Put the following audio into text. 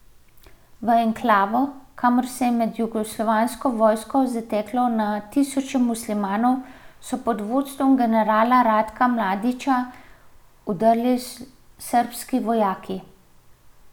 V enklavo, kamor se je med jugoslovansko vojno zateklo na tisoče muslimanov, so pod vodstvom generala Ratka Mladića vdrli srbski vojaki.